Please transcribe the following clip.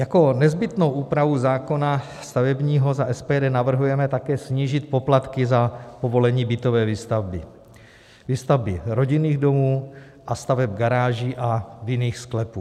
Jako nezbytnou úpravu zákona stavebního za SPD navrhujeme také snížit poplatky za povolení bytové výstavby, výstavby rodinných domů a staveb garáží a vinných sklepů.